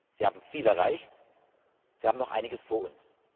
Wir haben viel erreicht und wir haben noch einiges vor uns.